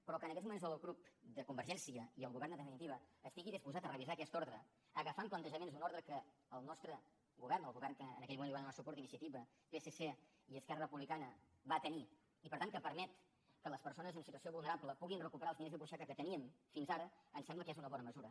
però que en aquests moments el grup de convergència i el govern en definitiva estigui disposat a revisar aquesta ordre agafant plantejaments d’una ordre que el nostre govern el govern que en aquell moment hi van donar suport iniciativa psc i esquerra republicana va tenir i per tant que permet que les persones en situació vulnerable puguin recuperar els diners de butxaca que teníem fins ara em sembla que és una bona mesura